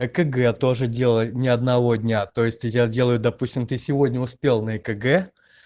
экг я тоже делаю ни одного дня то есть я делаю допустим ты сегодня успел на экг